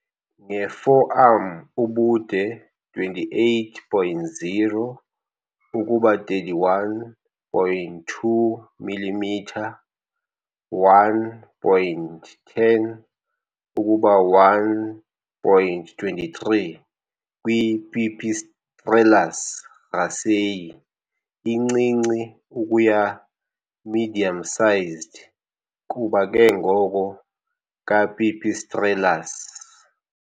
Nge-forearm ubude 28.0 ukuba 31.2 millimetre, 1.10 ukuba 1.23 kwi- kwi- "Pipistrellus raceyi" incinci ukuya medium-sized kuba ke ngoko ka-"Pipistrellus".